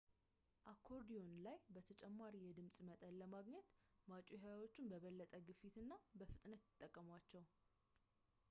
አኮርዲዮን ላይ ተጨማሪ የድምፅ መጠን ለማግኘት ማጮኺያዎቹን በበለጠ ግፊት እና ፍጥነት ይጠቀሟቸዋል